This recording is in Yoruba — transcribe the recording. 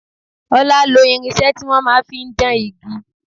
Ọlá lo irinṣẹ́ ti wọn máa ń fi dán igi.